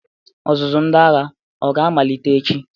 Ọzụzụ ndị agha o ga-amalite echi?